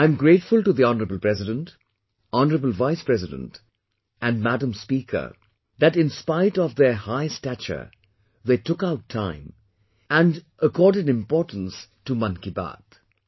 I'm grateful to the Hon'ble President, Hon'ble Vice President and Madam Speaker that inspite of their such high stature they took out time and they accorded importance to 'Mann Ki Baat'